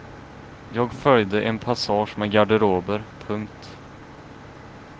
Jag följde en passage med garderober. punkt